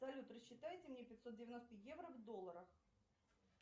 салют рассчитайте мне пятьсот девяносто евро в долларах